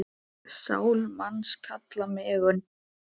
Sál manns kalla megum.